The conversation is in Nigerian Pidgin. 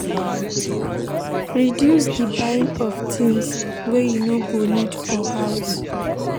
Reduce di buying of things wey you no need for house